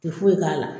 Ti foyi k'a la